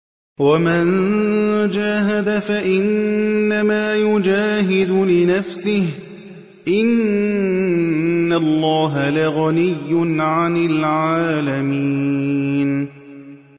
وَمَن جَاهَدَ فَإِنَّمَا يُجَاهِدُ لِنَفْسِهِ ۚ إِنَّ اللَّهَ لَغَنِيٌّ عَنِ الْعَالَمِينَ